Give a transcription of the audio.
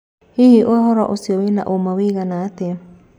Hihi ũhoro ũcio wĩna ũma wũigana atĩa?